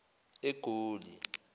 egoli